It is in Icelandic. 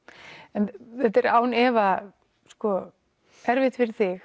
en þetta er án efa erfitt fyrir þig